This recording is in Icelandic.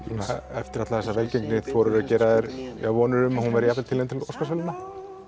eftir alla þessa velgengni þorirðu að gera þér vonir um að hún verði tilnefnd til Óskarsverðlauna